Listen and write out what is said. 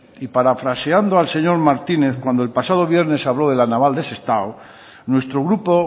y parafraseando al señor martínez cuando el pasado viernes habló de la naval de sestao nuestro grupo